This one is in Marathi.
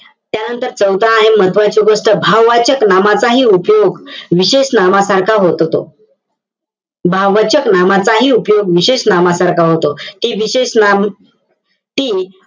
त्यानंतर चौथं आहे महत्वाची गोष्ट भाववाचक नामाचाही उपयोग विशेष नामासारखा होततो. भाववाचक नामाचाही उपयोग विशेष नामासारखा होतो. हे विशेष नाम